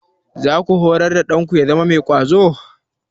Za ku horar da ɗanku ya zama mai ƙwazo?